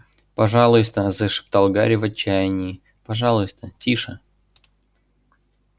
пожалуйста зашептал гарри в отчаянии пожалуйста тише